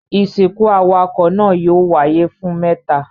Ìsìnkú awakọ̀ náà yóò wáyé fún mẹ́ta.